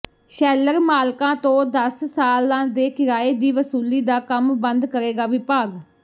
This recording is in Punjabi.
ਸ਼ੈਲਰ ਮਾਲਕਾਂ ਤੋਂ ਦਸ ਸਾਲਾਂ ਦੇ ਕਿਰਾਏ ਦੀ ਵਸੂਲੀ ਦਾ ਕੰਮ ਬੰਦ ਕਰੇਗਾ ਵਿਭਾਗ